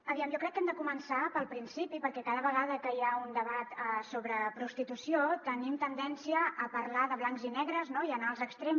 aviam jo crec que hem de començar pel principi perquè cada vegada que hi ha un debat sobre prostitució tenim tendència a parlar de blancs i negres no i anar als extrems